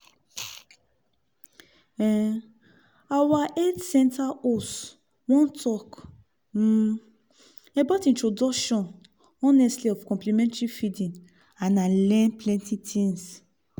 um our health center host one talk um about introduction honestly of complementary feeding and i learn plenty things.